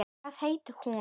Hvað hét hún?